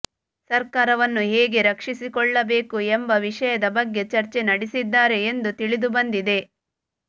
ಸರ್ಕಾರವನ್ನು ಹೇಗೆ ರಕ್ಷಿಸಿಕೊಳ್ಳಬೇಕು ಎಂಬ ವಿಷಯದ ಬಗ್ಗೆ ಚರ್ಚೆ ನಡೆಸಿದ್ದಾರೆ ಎಂದು ತಿಳಿದುಬಂದಿದೆ